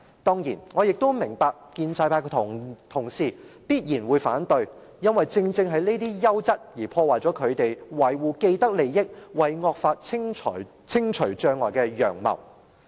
當然，我明白建制派的同事必然會反對，因為這些優質的運作，正正會破壞他們維護既得利益、為惡法清除障礙的陽謀。